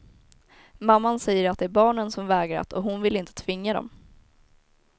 Mamman säger att det är barnen som vägrat, och hon vill inte tvinga dem.